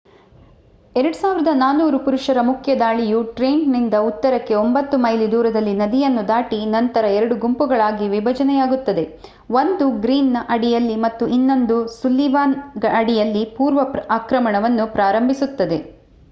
2,400 ಪುರುಷರ ಮುಖ್ಯ ದಾಳಿಯು ಟ್ರೆಂಟನ್‌ನಿಂದ ಉತ್ತರಕ್ಕೆ 9 ಮೈಲಿ ದೂರದಲ್ಲಿ ನದಿಯನ್ನು ದಾಟಿ ನಂತರ ಎರಡು ಗುಂಪುಗಳಾಗಿ ವಿಭಜನೆಯಾಗುತ್ತದೆ ಒಂದು ಗ್ರೀನ್‌ನ ಅಡಿಯಲ್ಲಿ ಮತ್ತು ಇನ್ನೊಂದು ಸುಲ್ಲಿವಾನ್ ಅಡಿಯಲ್ಲಿ ಪೂರ್ವ ಆಕ್ರಮಣವನ್ನು ಪ್ರಾರಂಭಿಸುತ್ತದೆ